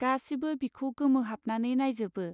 गासिबो बिखौ गोमोहाबनानै नाइजोबो.